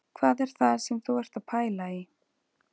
Hvað er það sem þú ert að pæla í